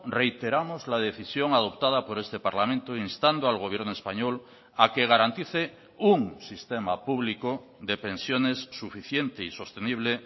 reiteramos la decisión adoptada por este parlamento instando al gobierno español a que garantice un sistema público de pensiones suficiente y sostenible